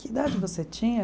Que idade você tinha?